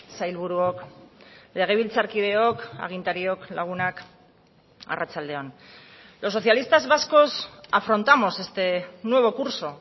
sailburuok legebiltzarkideok agintariok lagunak arratsalde on los socialistas vascos afrontamos este nuevo curso